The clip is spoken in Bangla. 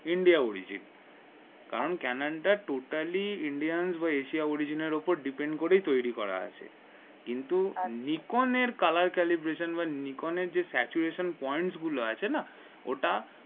India which it কারণ ক্যানেন totally ইন্ডিয়ান বা এশিয়া origin এর উপর depend করে তৈরি করা আছে কিন্তু নিকোনের colour calibration বা নিকোনের যে saturation point গুলো আছে না ওটা